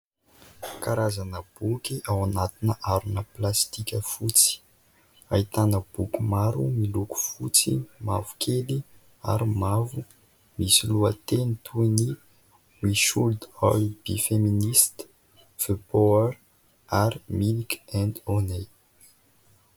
Karazana boky ao anaty harona plastika fotsy. Ahitana boky maro miloko fotsy, mavokely ary mavo. Misy lohateny toy ny « Me should all be feminist »,« The war » ary « Milk and honey ».